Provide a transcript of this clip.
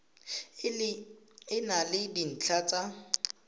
e na le dintlha tsa